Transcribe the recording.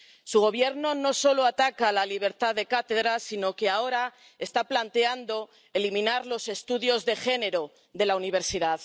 Su Gobierno no solo ataca la libertad de cátedra, sino que ahora está planteando eliminar los estudios de género de la universidad.